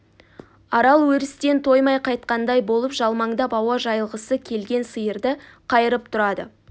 арал өрістен тоймай қайтқандай болып жалмаңдап ауа жайылғысы келген сиырды қайырып тұрады